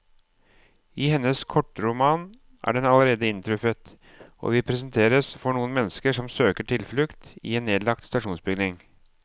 I hennes kortroman er den allerede inntruffet, og vi presenteres for noen mennesker som søker tilflukt i en nedlagt stasjonsbygning.